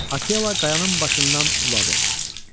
Akela qayanın başından uladı.